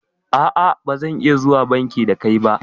A'a bazan iya zuwa banki da kai ba